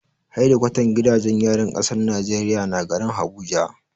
Hedikwatan gidajen yarin kasar Najeriya na garin Abuja.